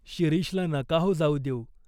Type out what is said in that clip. "शिरीषला नका हो जाऊ देऊ.